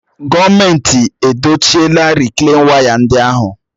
Gọọmenti edochila rịklain waya ndị ahụ